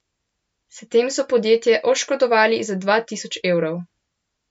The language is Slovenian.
S tem so podjetje oškodovali za dva tisoč evrov.